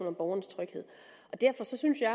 om borgernes tryghed derfor synes jeg